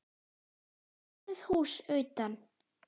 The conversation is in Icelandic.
Lítið hús utan.